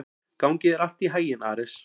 Gangi þér allt í haginn, Ares.